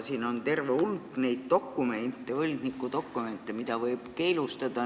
Siin on terve hulk neid võlgniku dokumente, mida võib keelustada.